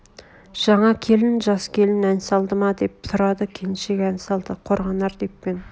жаңа келін жас келін ән салды ма деп сұрады келіншек ән салды қорғанар деп пе ең